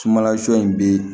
Sumanla sɔ in bɛ